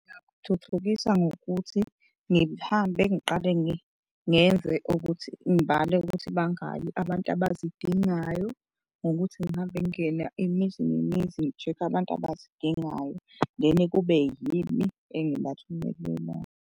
Ngingathuthukisa ngokuthi ngihambe ngiqale ngenze ukuthi ngibale ukuthi bangaki abantu abazidingayo ngokuthi ngihambe ngingene imizi nemizi ngi-check-e abantu abazidingayo then kube yimi engibathumelelayo.